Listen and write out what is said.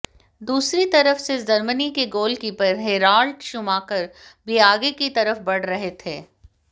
दूसरी तरफ से जर्मनी के गोलकीपर हैराल्ड शूमाकर भी आगे की तरफ बढ़ रहे थे